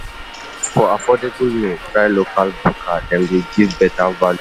For affordable meal, try local bukka; dem dey give you better value. value.